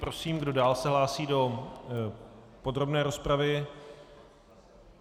Prosím, kdo dál se hlásí do podrobné rozpravy?